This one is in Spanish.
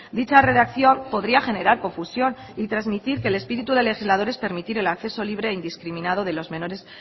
dicha redacción podría generar confusión y transmitir que el espíritu del legislador es permitir el acceso libre e indiscriminado de los menores